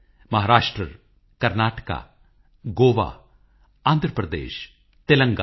ਮਨ ਚੰਗਾ ਤੋ ਕਠੌਤੀ ਮੇਂ ਗੰਗਾ